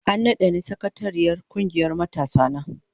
An nada ni sakatariyar kungiyar matasana.